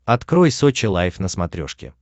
открой сочи лайв на смотрешке